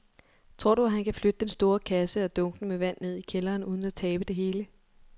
Tror du, at han kan flytte den store kasse og dunkene med vand ned i kælderen uden at tabe det hele?